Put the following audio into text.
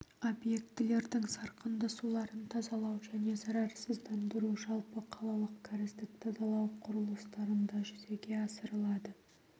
объектілердің сарқынды суларын тазалау және зарарсыздандыру жалпы қалалық кәріздік тазалау құрылыстарында жүзеге асырылады